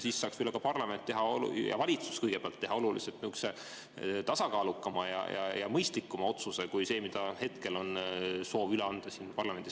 Siis saaks ka parlament ja kõigepealt valitsus teha oluliselt tasakaalukama ja mõistlikuma otsuse kui see, mida hetkel soovitakse siin üle anda parlamendile.